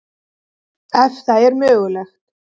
Ef það er mögulegt.